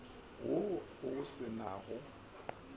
wo o se na go